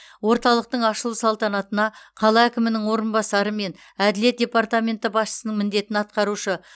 орталықтың ашылу салтанатына қала әкімінің орынбасары мен әділет департаменті басшысының міндетін атқарушы